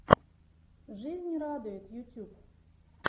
жизнь радует ютюб